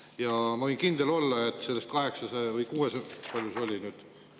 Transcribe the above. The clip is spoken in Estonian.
Ja ma võin kindel olla, et sellest – palju see oli nüüd?